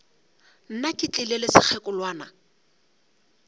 nna ke tlile le sekgekolwana